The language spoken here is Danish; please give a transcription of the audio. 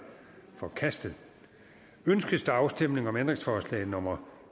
forkastet ønskes afstemning om ændringsforslag nummer